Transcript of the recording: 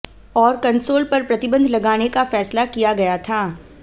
और कंसोल पर प्रतिबंध लगाने का फैसला किया गया था